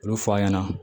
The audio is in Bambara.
Olu fɔ' a ɲɛna